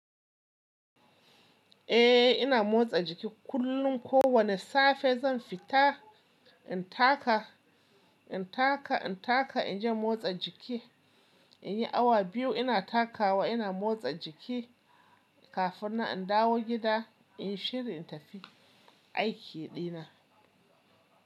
Eh ina motsa jiki kullum. Ko wane safe zan fita in taka, in taka, in taka, in je motsa jiki. In yi awa biyu ina takawa, ina motsa jiki kafin nan in dawo gida in shirya in tafi aiki dina.